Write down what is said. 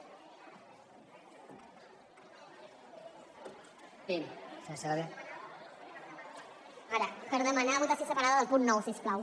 per demanar votació separada del punt nou si us plau